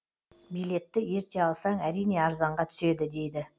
билетті ерте алсаң әрине арзанға түседі дейді